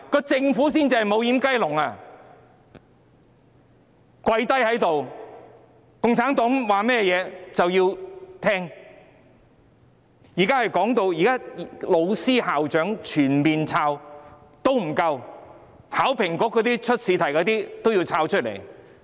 政府才是"無掩雞籠"，他們"跪低"了，共產黨說甚麼也會聽，現在即使全面審查老師、校長也不夠，連為考評局出試題的人也要審查。